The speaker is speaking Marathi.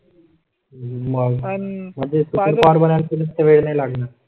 मग मध्ये फार वेळ नाही लागणार.